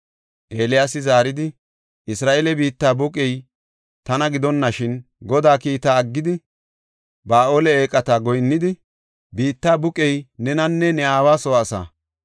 Eeliyaasi zaaridi, “Isra7eele biitta buqey tana gidonashin, Godaa kiita aggidi, Ba7aale eeqata goyinnidi, biitta buqey nenanne ne aawa soo asaa.